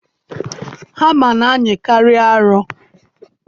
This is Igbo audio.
Hama na-anyịkarị arọ.